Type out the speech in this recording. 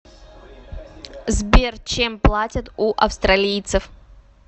сбер чем платят у австралийцев